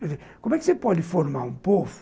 Quer dizer, como é que você pode formar um povo